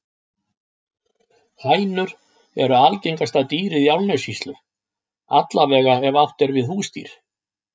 Hænur eru algengasta dýrið í Árnessýslu, alla vega ef átt er við húsdýr.